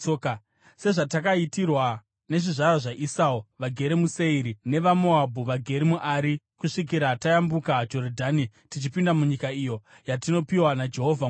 sezvatakaitirwa nezvizvarwa zvaEsau vagere muSeiri, nevaMoabhu vagere muAri. Kusvikira tayambuka Jorodhani tichipinda munyika iyo yatinopiwa naJehovha Mwari wedu.”